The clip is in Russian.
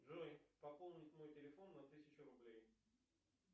джой пополнить мой телефон на тысячу рублей